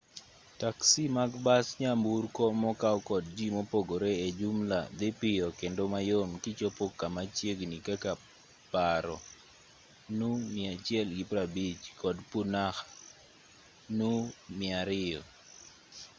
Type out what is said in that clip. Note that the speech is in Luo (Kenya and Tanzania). taksi mag bas nyamburko mokaw kod ji mopogre e jumla dhi piyo kendo mayom kichopo kama chiegni kaka paro nu150 kod punakha nu 200